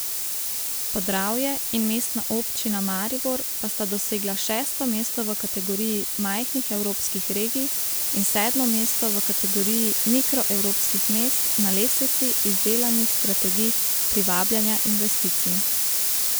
Podravje in Mestna občina Maribor pa sta dosegla šesto mesto v kategoriji majhnih evropskih regij in sedmo mesto v kategoriji mikro evropskih mest na lestvici izdelanih strategij privabljanja investicij.